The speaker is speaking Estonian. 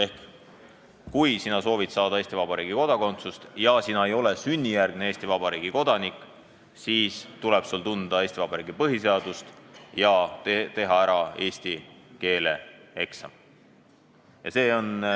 Ehk kui sa soovid saada Eesti Vabariigi kodakondsust ja sa ei ole sünnijärgne Eesti Vabariigi kodanik, siis tuleb sul tunda Eesti Vabariigi põhiseadust ja teha ära eesti keele eksam.